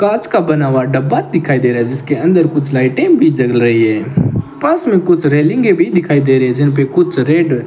कांच का बना हुआ डब्बा दिखाई दे रहा है जिसके अंदर कुछ लाइटें भी जल रही है पास में कुछ रेलिंगें भी दिखाई दे रही है जिनपे कुछ रेड --